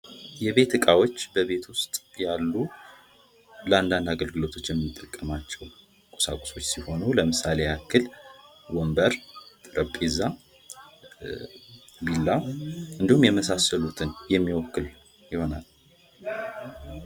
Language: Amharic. የቤት እቃዎች በቤት ዉስጥ ያሉ ለአንድ አንድ አገልግሎቶች የምንጠቀማቸዉ ቁሳቁሶች ሲሆኑ ለምሳሌ ያክል ወንበር፣ ጠረጴዛ፣ ቢላ እንዲሁም የመሳሰሉትን የሚወክል ይሆናል።